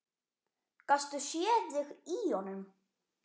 Gastu séð þig í honum?